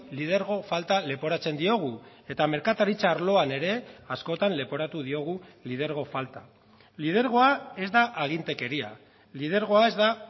lidergo falta leporatzen diogu eta merkataritza arloan ere askotan leporatu diogu lidergo falta lidergoa ez da agintekeria lidergoa ez da